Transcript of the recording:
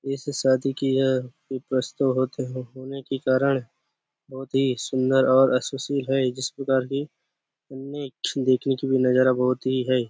इस शादी की होने के कारण बहुत ही सुंन्दर इस प्रकार देखने की भी नज़ारा बहुत ही है।